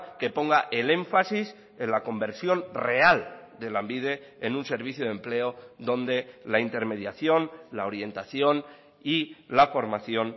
que ponga el énfasis en la conversión real de lanbide en un servicio de empleo donde la intermediación la orientación y la formación